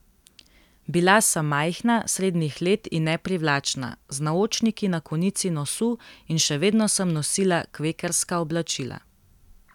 Bila sem majhna, srednjih let in neprivlačna, z naočniki na konici nosu, in še vedno sem nosila kvekerska oblačila.